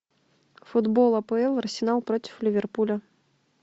футбол апл арсенал против ливерпуля